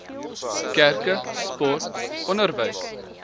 kerke sport onderwys